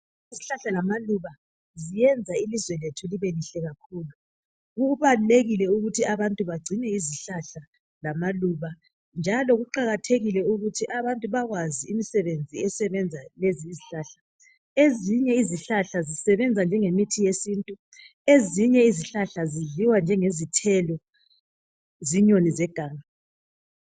Izihlahla lamaluba ziyenza ilizwe lethu libe lihle kakhulu . Kubalulekile ukuthi abantu bagcine izihlahla lamaluba njalo kuqakathekile ukuthi abantu bakwazi imisebenzi esebenza lezi izihlahla. Ezinye izihlahla zisebenza njengemithi yesintu, ezinye izihlahla zidliwa njengezithelo zinyoni zeganga.